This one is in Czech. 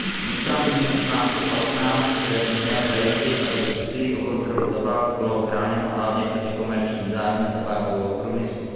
Vítám znění článku 15, které by mělo zajistit, aby úsilí o kontrolu tabáku bylo chráněno hlavně proti komerčním zájmům tabákového průmyslu.